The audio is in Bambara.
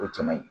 O caman ye